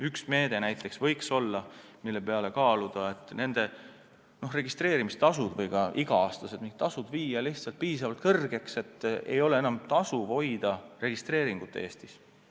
Üks meede näiteks, mida võiks kaaluda, on viia nende registreerimistasud või ka iga-aastased mingid tasud piisavalt kõrgeks, nii et ei ole enam tasuv Eestis registreeringut hoida.